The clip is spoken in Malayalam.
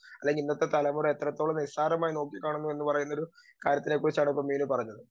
സ്പീക്കർ 2 അല്ലെങ്കി ഇന്നത്തെ തലമുറ എത്രത്തോളം നിസ്സാരമായി നോക്കിക്കാണുന്നു എന്നു പറയുന്നൊരു കാര്യത്തിനെ കുറിച്ചാണ് ഇപ്പം മീനു പറഞ്ഞത്.